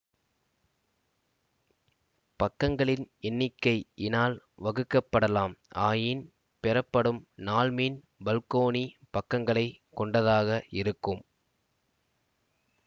பக்கங்களின் எண்ணிக்கை இனால் வகுக்கப்படலாம் ஆயின் பெறப்படும் நாள்மீன் பல்கோணி பக்கங்களை கொண்டதாக இருக்கும்